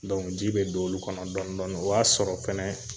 ji bɛ don olu kɔnɔ dɔni dɔni o y'a sɔrɔ fɛnɛ